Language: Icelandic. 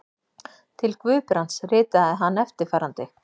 Til Guðbrands ritaði hann eftirfarandi